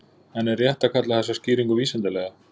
En er rétt að kalla þessa skýringu vísindalega?